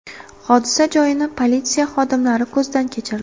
Hodisa joyini politsiya xodimlari ko‘zdan kechirdi.